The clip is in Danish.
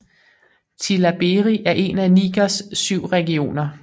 Tillabéri er en af Nigers syv regioner